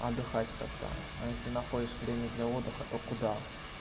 отдыхать когда а если находишь время для отдыха то куда